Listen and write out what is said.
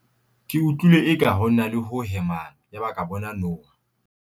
ke utlwile eka ho na le ho hemang yaba ke bona noha